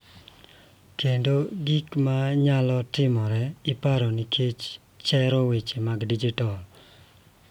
Kendo gik ma nyalo timore e paro nikech chero weche mag dijitol.